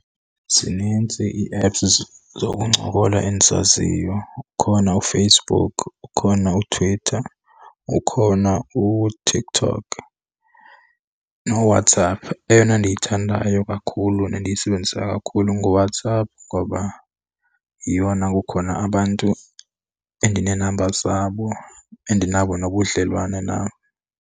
Zinintsi ii-apps zokuncokola endizaziyo. Ukhona uFacebook, ukhona uTwitter, ukhona uTikTok noWhatsApp. Eyona ndiyithandayo kakhulu nendiyisebenzisa kakhulu nguWhatsApp, ngoba yeyona kukhona abantu endinee-numbers zabo endinabo nobudlelwane nabo.